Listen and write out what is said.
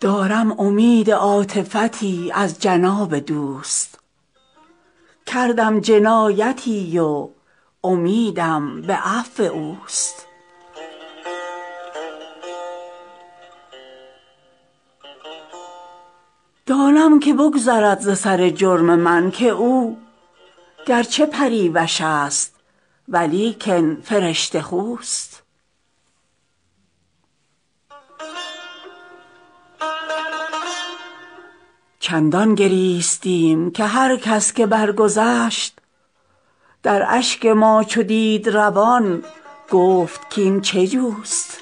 دارم امید عاطفتی از جناب دوست کردم جنایتی و امیدم به عفو اوست دانم که بگذرد ز سر جرم من که او گر چه پریوش است ولیکن فرشته خوست چندان گریستیم که هر کس که برگذشت در اشک ما چو دید روان گفت کاین چه جوست